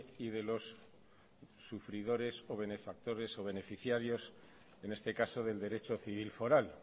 y de los sufridores o benefactores o beneficiarios en este caso del derecho civil foral